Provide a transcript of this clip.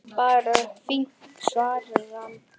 Bara fínt- svaraði hann.